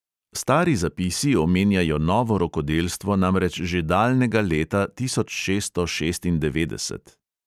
Stari zapisi omenjajo novo rokodelstvo namreč že daljnega leta tisoč šeststo šestindevetdeset.